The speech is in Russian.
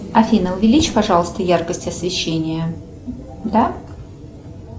афина увеличь пожалуйста яркость освещения да